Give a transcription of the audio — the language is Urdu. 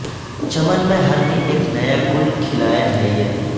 چمن میں ہر دن اک نیا گل کھلائے ہے یہ